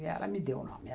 E ela me deu o nome.